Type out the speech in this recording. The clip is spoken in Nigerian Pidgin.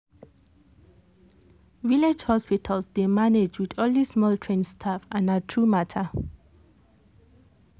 village hospitals dey manage with only small trained staff and na true matter.